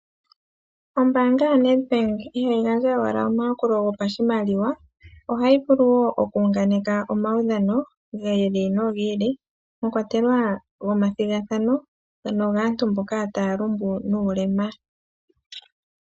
Ombaanga yoNedbank ihayi gandja owala omayakulo gopashimaliwa, ihe ohayi vulu wo okuhunganeka omaudhano gi ili nogi ili, mwakwatelwa gomathigathano, nogaantu mboka taya lumbu nuulema.